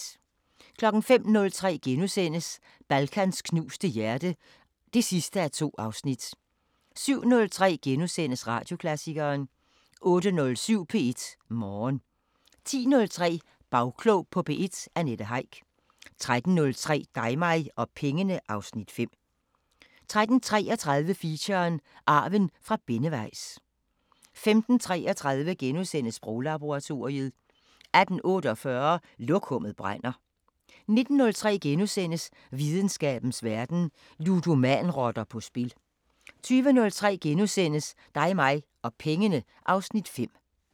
05:03: Balkans knuste hjerte (2:2)* 07:03: Radioklassikeren * 08:07: P1 Morgen 10:03: Bagklog på P1: Annette Heick 13:03: Dig mig og pengene (Afs. 5) 13:33: Feature: Arven fra Benneweis 15:33: Sproglaboratoriet * 18:48: Lokummet brænder 19:03: Videnskabens Verden: Ludomanrotter på spil * 20:03: Dig mig og pengene (Afs. 5)*